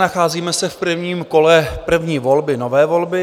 Nacházíme se v prvním kole první volby, nové volby.